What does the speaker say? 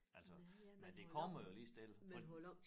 Altså men det kommer jo lige så stille